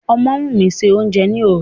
Ọmọ́wùmí se oúnjẹ ni òru.